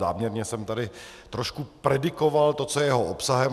Záměrně jsem tady trošku predikoval to, co je jeho obsahem.